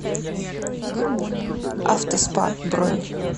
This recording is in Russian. авто спа бронь